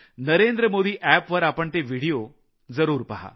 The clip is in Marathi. नरेंद्रमोदी एप वर आपण ते व्हिडिओ जरूर पहा